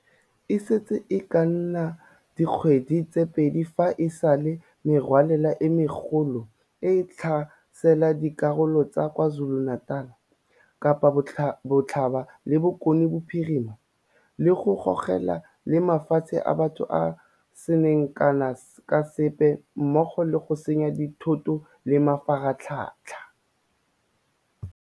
E setse e ka nna dikgwedi tse pedi fa e sale merwalela e megolo e tlhasela dikarolo tsa KwaZuluNatal, Kapa Botlhaba le Bokone Bophirima, le go gogola le matshelo a batho a a seng kana ka sepe mmogo le go senya dithoto le mafaratlhatlha.